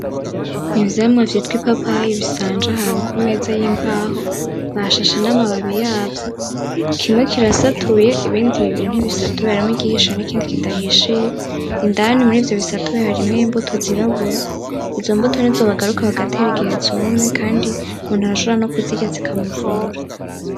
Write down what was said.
Ivyamwa vyitwa ipapayi bisanje ahantu kumeza yimbaho bashashe namababi yabyo kimwe kirasatuye ibindi bibiri nibisatuye harimo igihishe nikindi kidahishiye indani murivyo bisatuye harimo imbuto zirabura izombuto nizo bagaruka bagatera igihe zumye kandi umuntu arashobora nokuzirya zikamuvura.